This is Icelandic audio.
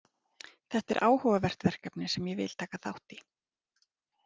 Þetta er áhugavert verkefni sem ég vil taka þátt í.